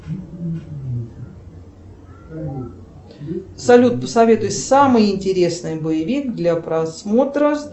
салют посоветуй самый интересный боевик для просмотра